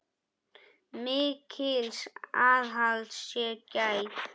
Mikils aðhalds sé gætt.